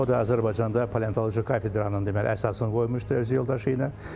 O da Azərbaycanda paleontoloji kafedranın deməli əsasını qoymuşdu öz yoldaşı ilə.